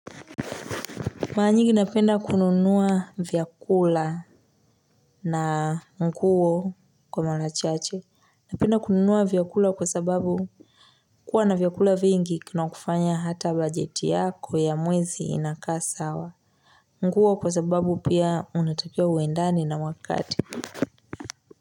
Mara nyingi napenda kununua vyakula na mkuo kwa mala chache. Napenda kununuwa vyakula kwa sababu kuwa na vyakula vingi kinakufanya hata bajeti yako ya mwezi inakaa sawa. Mkuo kwa sababu pia unatapia uendane na wakati.